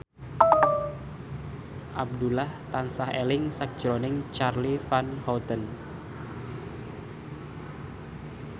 Abdullah tansah eling sakjroning Charly Van Houten